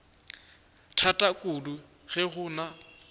thata kudu ge go na